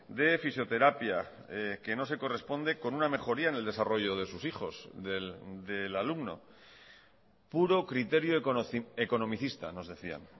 de fisioterapia que no se corresponde con una mejoría en el desarrollo de sus hijos del alumno puro criterio economicista nos decían